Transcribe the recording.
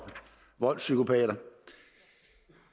voldspsykopater